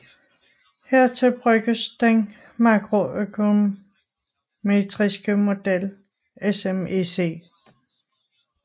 Hertil bruges den makroøkonometriske model SMEC